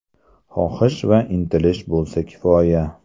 Xohish va intilish bo‘lsa kifoya.